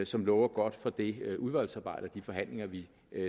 som lover godt for det udvalgsarbejde og de forhandlinger vi